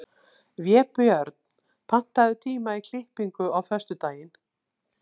Vébjörn, pantaðu tíma í klippingu á föstudaginn.